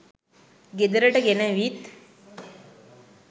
ගෙදරට ගෙනවිත්